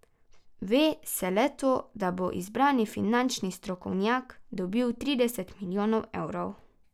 Ve se le to, da bo izbrani finančni strokovnjak dobil trideset milijonov evrov.